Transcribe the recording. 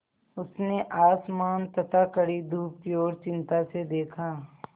उसने आसमान तथा कड़ी धूप की ओर चिंता से देखा